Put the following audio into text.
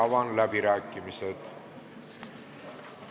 Avan läbirääkimised.